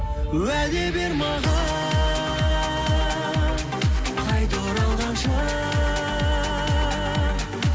уәде бер маған қайта оралғанша